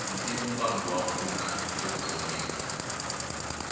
ntivombangu wa pfuna e vutomini